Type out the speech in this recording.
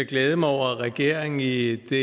glæde mig over at regeringen i i det